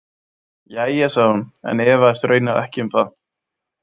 Jæja, sagði hún en efaðist raunar ekki um það.